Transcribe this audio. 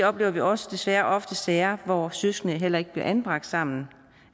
oplever vi også desværre ofte sager hvor søskende heller ikke bliver anbragt sammen